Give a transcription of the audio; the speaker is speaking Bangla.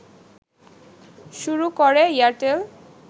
শুরু করে এয়ারটেল